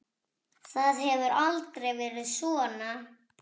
Það hefur aldrei verið svona.